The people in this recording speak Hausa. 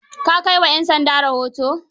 Ka kai wa 'yan sanda rahoto?